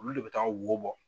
Olu le bɛ taga wo bɔ.